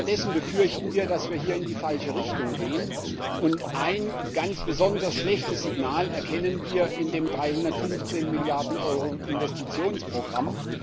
Wir befürchten, dass wir stattdessen in die falsche Richtung gehen, und ein ganz besonders schlechtes Signal erkennen wir in dem 315 Milliarden Euro Investitionsprogramm.